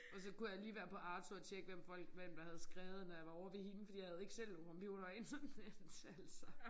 Og så kunne jeg lige være på Arto og tjekke hvem folk hvem der havde skrevet når jeg var ovre ved hende fordi jeg havde ikke selv computer og internet altså